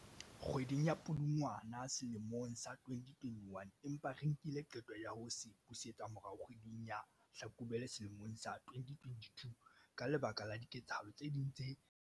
ka kgwedi ya Pudungwana selemong sa 2021, empa re nkile qeto ya ho se busetsa morao kgwe ding ya Hlakubele sele mong sa 2022 ka lebaka la diketsahalo tse ding tse re qakehisitseng nakong ena.